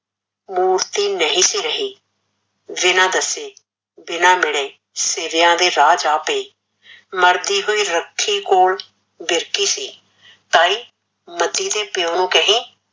ਮੂਰਤੀ ਨਹੀਂ ਸੀ ਰਹੀ, ਬਿਨਾਂ ਦੱਸੇ, ਬਿਨਾਂ ਮਿਲੇ, ਸੀਵਿਆ ਦੇ ਰਾਹ ਪਈ, ਮਰਦੀ ਹੋਈ ਰੱਖੀ ਕੋਲ ਦੱਸਦੀ ਸੀ ਤਾਈ ਮਤੀ ਦੇ ਪਿਓ ਨੂੰ ਕਹੀਂ